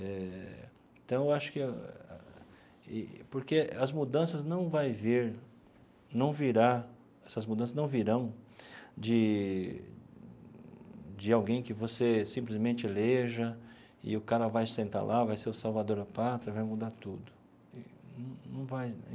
Eh então, acho que e... Porque as mudanças não vai vir não virá essas mudanças não virão de de alguém que você simplesmente eleja e o cara vai sentar lá, vai ser o salvador da pátria e vai mudar tudo num num vai.